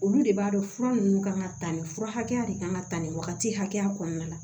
Olu de b'a dɔn fura ninnu kan ka ta nin fura hakɛ de kan ka ta nin wagati hakɛya kɔnɔna la